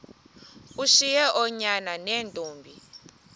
ushiye oonyana neentombi